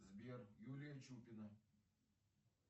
сбер юлия чупина